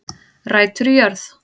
Rætur í jörð